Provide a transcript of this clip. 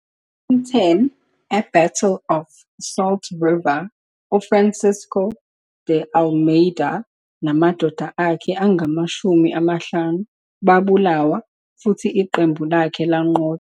10, e-Battle of Salt River, uFrancisco de Almeida namadoda akhe angamashumi amahlanu babulawa futhi iqembu lakhe lanqotshwa.